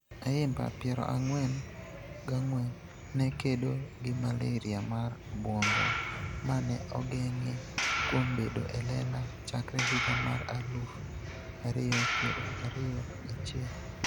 Ayimba (piero ang'wen gang'wen) ne kedo gi malaria mar obwongo, ma ne ogeng'e kuom bedo e lela chakre higa mar aluf ario piero ario gachiel.